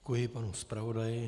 Děkuji panu zpravodaji.